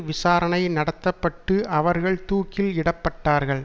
விசாரணை நடத்த பட்டு அவர்கள் தூக்கில் இடப்பட்டார்கள்